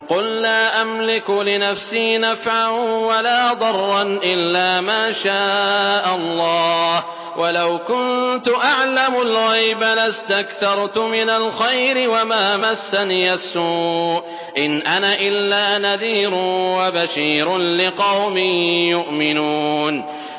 قُل لَّا أَمْلِكُ لِنَفْسِي نَفْعًا وَلَا ضَرًّا إِلَّا مَا شَاءَ اللَّهُ ۚ وَلَوْ كُنتُ أَعْلَمُ الْغَيْبَ لَاسْتَكْثَرْتُ مِنَ الْخَيْرِ وَمَا مَسَّنِيَ السُّوءُ ۚ إِنْ أَنَا إِلَّا نَذِيرٌ وَبَشِيرٌ لِّقَوْمٍ يُؤْمِنُونَ